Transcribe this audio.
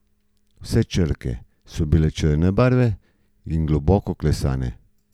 Vse črke so črne barve in globoko klesane.